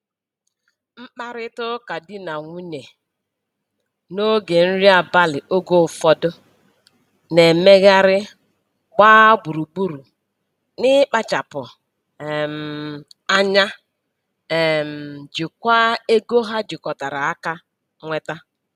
Mkparịtaụka di na nwunye n'oge nri abalị oge ụfọdụ na-emegharị gbaa gburu gburu n'ịkpachapụ um anya um jikwaa ego ha jikọtara aka nweta.